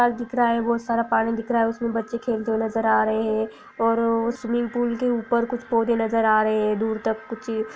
दिख रहा है बहुत सारा पानी दिख रहा है उसमे बच्चे खेलते हुए नज़र आ रहे है और अ-- स्विमिंग पूल के ऊपर कुछ पौधे नज़र आ रहे है दूर तक कुछ---